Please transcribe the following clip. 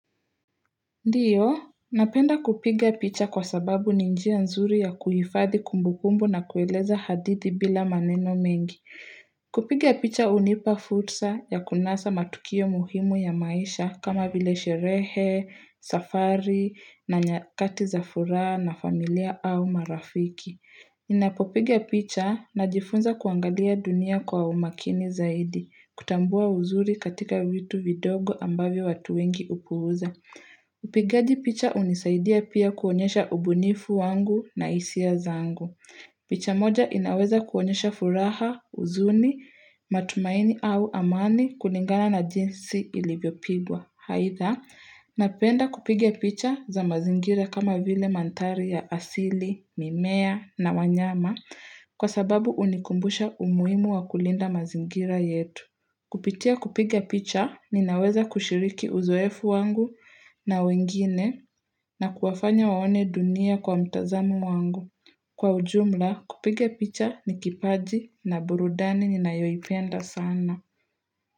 Ndio, napenda kupiga picha kwa sababu ni njia nzuri ya kuhifadhi kumbubumbu na kueleza hadithi bila maneno mengi. Kupiga picha hunipa fursa ya kunasa matukio muhimu ya maisha kama vile sherehe, safari, na nyakati za furaha na familia au marafiki. Ninapopiga picha najifunza kuangalia dunia kwa umakini zaidi, kutambua uzuri katika vitu vidogo ambavyo watu wengi hupuuza. Upigaji picha hunisaidia pia kuonyesha ubunifu wangu na hisia zangu picha moja inaweza kuonyesha furaha, huzuni, matumaini au amani kulingana na jinsi ilivyopigwa. Aidha, napenda kupiga picha za mazingira kama vile mandhari ya asili, mimea na wanyama Kwa sababu hunikumbusha umuhimu wa kulinda mazingira yetu kupitia kupiga picha ninaweza kushiriki uzoefu wangu na wengine na kuwafanya waone dunia kwa mtazamo wangu kwa ujumla kupiga picha ni kipaji na burudani ninayoipenda sana.